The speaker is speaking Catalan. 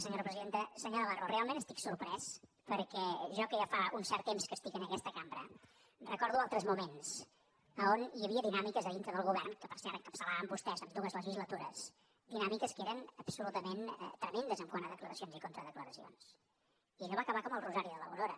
senyor navarro realment estic sorprès perquè jo que ja fa un cert temps que estic en aquesta cambra recordo altres moments a on hi havia dinàmiques a dintre del govern que per cert encapçalaven vostès en dues legislatures que eren absolutament tremendes quant a declaracions i contradeclaracions i allò va acabar com el rosari de l’aurora